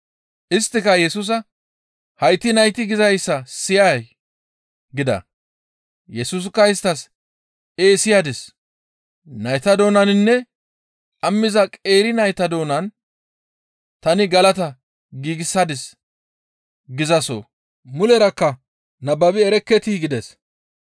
Isttika Yesusa, «Hayti nayti gizayssa siyay?» gida; Yesusikka isttas, «Ee siyadis; nayta doonaninne dhammiza qeeri nayta doonan tani galata giigsadis gizaso mulerakka nababi erekketii?» gides.